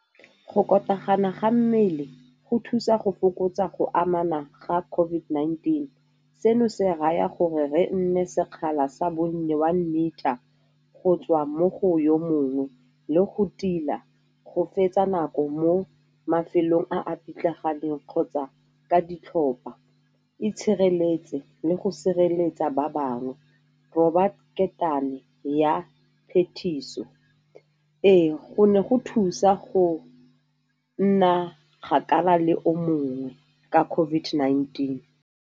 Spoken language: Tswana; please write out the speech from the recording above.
Go ga mmele go thusa go fokotsa go amana ga COVID-19. Seno se raya gore re nne sekgala sa bonnye one meter, go tswa mo go yo mongwe le go tila go fetsa nako mo mafelong a a pitlaganeng kgotsa ka ditlhopa. Itshireletse le go sireletsa ba bangwe, roba ketane ya phetiso. Ee, go ne go thusa go nna kgakala le o mongwe ka COVID-19.